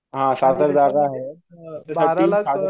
बारा लाख